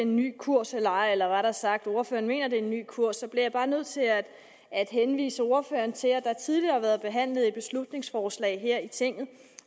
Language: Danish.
en ny kurs eller ej eller rettere sagt ordføreren mener at det er en ny kurs så bliver jeg bare nødt til at at henvise ordføreren til at der tidligere har været behandlet et beslutningsforslag her i tinget